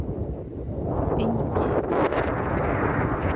Engi